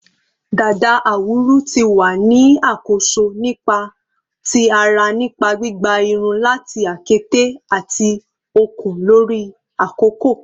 Dada awuru ti wa ni akoso nipa ti ara nipa gbigba irun lati akete ati okun lori akoko